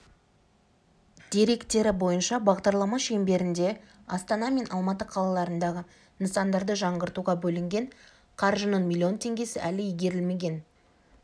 деректері бойынша бағдарлама шеңберінде астана мен алматы қалаларындағы нысандарды жаңғыртуға бөлінген қаржының миллион теңгесі әлі игерілмеген